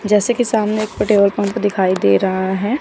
रस्सी के सामने और पंप दिखाई दे रहे हैं।